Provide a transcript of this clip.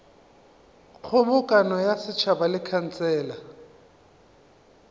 kgobokano ya setšhaba le khansele